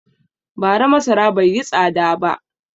Bara masara bai yi tsada ba.